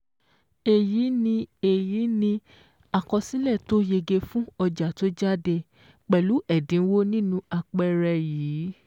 Èyí ni Èyí ni àkọsílẹ̀ tó yege fún ọjà tó jáde pẹ̀lú ẹ̀dínwó nínú àpẹẹrẹ yìí.